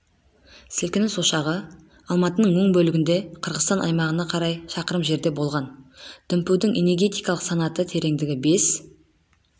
сілкініс ошағы алматының оң бөлігінде қырғызстан аймағына қарай шақырым жерде болған дүмпудің энегетикалық санаты тереңдігі бес